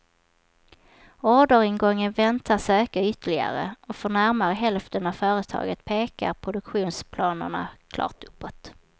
Orderingången väntas öka ytterligare, och för närmare hälften av företagen pekar produktionsplanerna klart uppåt.